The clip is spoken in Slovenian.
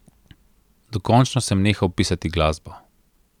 Dokončno sem nehal pisati glasbo.